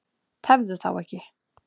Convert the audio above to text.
Tefðu þá ekki.